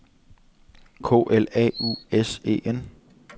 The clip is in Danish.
K L A U S E N